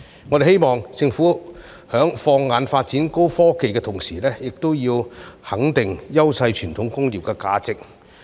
我們希望政府在放眼發展高科技的同時，亦要肯定優勢傳統工業的價值。